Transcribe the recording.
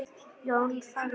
Jón þagði.